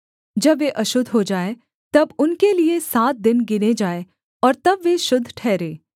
जब वे अशुद्ध हो जाएँ तब उनके लिये सात दिन गिने जाएँ और तब वे शुद्ध ठहरें